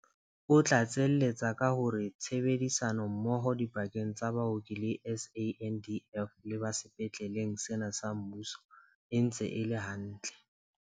O tlatseletsa ka hore tshebedi sano mmoho dipakeng tsa baoki ba SANDF le ba sepetleng sena sa mmuso e ntse e le hantle.